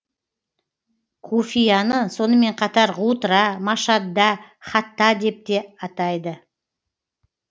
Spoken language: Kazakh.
куфияны сонымен қатар ғутра машадда хатта деп де атайды